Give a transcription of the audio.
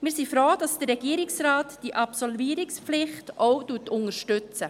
Wir sind froh, dass der Regierungsrat die Absolvierungspflicht auch unterstützt.